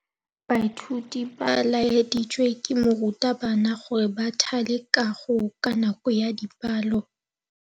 Baithuti ba laeditswe ke morutabana gore ba thale kagô ka nako ya dipalô.